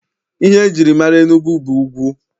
Ihe e jiri mara Enugwu bụ ugwu.